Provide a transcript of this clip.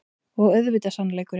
Og auðvitað sannleikurinn.